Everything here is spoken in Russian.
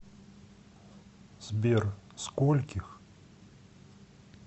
сбер скольких